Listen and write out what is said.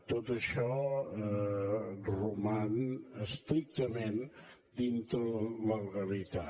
tot això roman estrictament dintre de la legalitat